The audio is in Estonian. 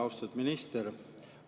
Austatud minister!